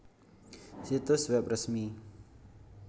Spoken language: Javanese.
Situs web resmi